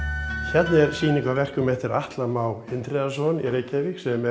hérna er sýning á verkum eftir Atla Má Indriðason í Reykjavík sem